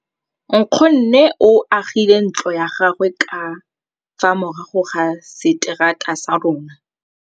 Nkgonne o agile ntlo ya gagwe ka fa morago ga seterata sa rona.